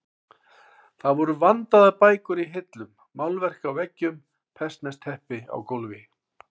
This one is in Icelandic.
Það voru vandaðar bækur í hillum, málverk á veggjum, persneskt teppi á gólfi.